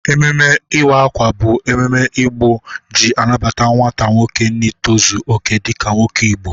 Ememe iwa akwa bụ ememe Igbo ji anabata nwata nwoke n'itọzọ oke dịka nwoke Igbo.